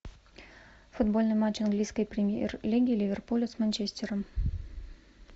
футбольный матч английской премьер лиги ливерпуля с манчестером